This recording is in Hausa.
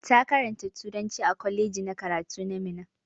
Ta karanta turanci a kwaleji na karatu na Minna.